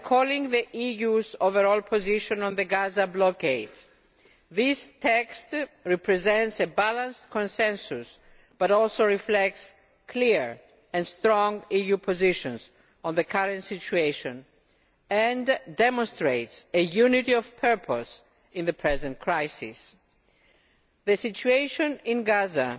By recalling the EU's overall position on the Gaza blockade, this text represents a balanced consensus but also reflects clear and strong EU positions on the current situation and demonstrates a unity of purpose in the present crisis. The situation in Gaza